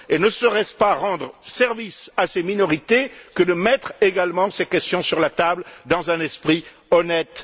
Ne serait ce pas rendre service à ces minorités que de mettre également ces questions sur la table dans un esprit honnête.